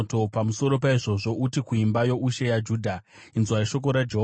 “Pamusoro paizvozvo, uti kuimba youshe yaJudha, ‘Inzwai shoko raJehovha,